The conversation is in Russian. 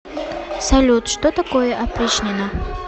салют что такое опричнина